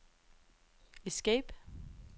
escape